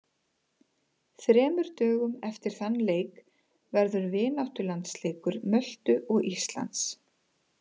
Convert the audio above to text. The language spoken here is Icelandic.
Þremur dögum eftir þann leik verður vináttulandsleikur Möltu og Íslands.